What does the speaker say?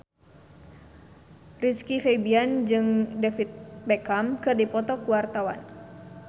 Rizky Febian jeung David Beckham keur dipoto ku wartawan